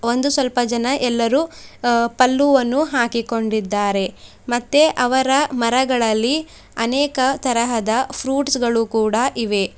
ಒಂದು ಸ್ವಲ್ಪ ಜನ ಎಲ್ಲರೂ ಅ ಪಲ್ಲುವನ್ನು ಹಾಕಿಕೊಂಡಿದ್ದಾರೆ ಮತ್ತೆ ಅವರ ಮರಗಳಲ್ಲಿ ಅನೇಕ ತರಹದ ಫ್ರೂಟ್ಸ್ ಗಳು ಕೂಡ ಇವೆ.